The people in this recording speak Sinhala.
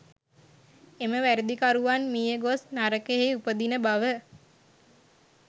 එම වැරැදිකරුවන් මිය ගොස් නරකයෙහි උපදින බව